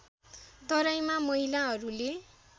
तराईमा महिलाहरूले